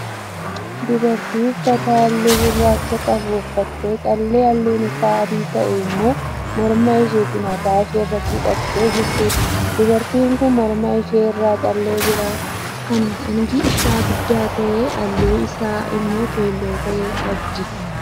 Dubartii uffata halluu gurraacha qabu uffattee callee halluun isaa adii ta'ee immoo mormaa ishee fi mataa ishee irratti hidhattee jirtuudha. Dubartiin kun morma ishee irraa callee biraa kan hangi isaa guddaa ta'e halluun isaa immoo keelloo ta'e qabdi.